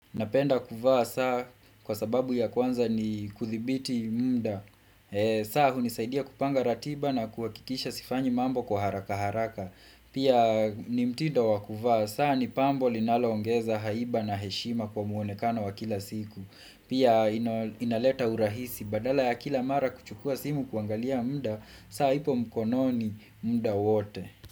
Napenda kuvaa saa kwa sababu ya kwanza ni kudhibiti muda saa hunisaidia kupanga ratiba na kuwakikisha sifanyi mambo kwa haraka haraka Pia nimtindo wa kuvaa saa ni pambo linaloongeza haiba na heshima kwa muonekana wa kila siku Pia inaleta urahisi badala ya kila mara kuchukua simu kuangalia muda saa ipo mkono ni muda wote.